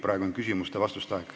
Praegu on küsimuste ja vastuste aeg.